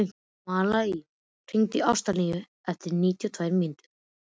Malía, hringdu í Ástínu eftir níutíu og tvær mínútur.